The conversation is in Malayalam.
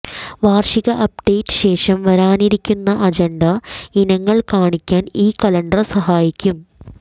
വാർഷിക അപ്ഡേറ്റ് ശേഷം വരാനിരിക്കുന്ന അജണ്ട ഇനങ്ങൾ കാണിക്കാൻ ഈ കലണ്ടർ സഹായിക്കും